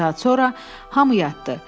Bir saat sonra hamı yatdı.